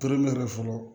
Tere yɛrɛ fɔlɔ